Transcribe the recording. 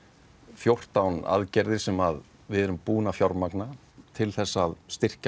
fjórtán aðgerðir sem við erum búin að fjármagna til þess að styrkja